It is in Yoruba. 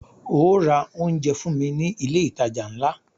Óò ra oúnjẹ fún mí ní ilé ìtajà ńlá!